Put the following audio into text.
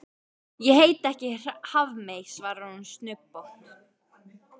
Ég heiti ekki Hafmey, svarar hún snubbótt.